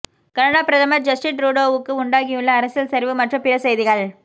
Canada பிரதமர் Justin ட்ரூடோவுக்கு உண்டாகியுள்ள அரசியல் சரிவு மற்றும் பிற செய்திகள்